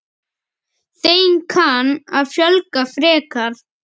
Þeim kann að fjölga frekar.